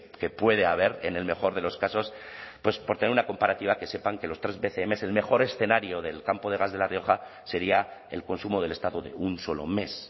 que puede haber en el mejor de los casos pues por tener una comparativa que sepan que los tres bcm el mejor escenario del campo de gas de la rioja sería el consumo del estado de un solo mes